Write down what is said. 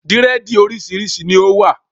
Dírẹ̀dì oríṣiríṣi ni ó wà